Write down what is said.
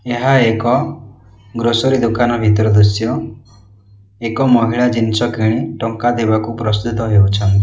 ଏହା ଏକ ଗ୍ରୋସେରୀ ଦୋକାନ ଭିତର ଦୃଶ୍ୟ ଏକ ମହିଳା ଜିନିଷ କିଣି ଟଙ୍କା ଦେବାକୁ ପ୍ରସ୍ତୁତ ହେଉଛ --